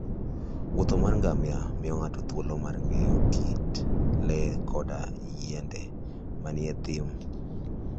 Wuoth mar ngamia miyo ng'ato thuolo mar ng'eyo kit le koda yiende manie thim.